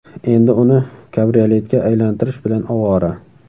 Endi uni kabrioletga aylantirish bilan ovora”.